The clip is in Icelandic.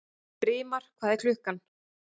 Brimar, hvað er klukkan?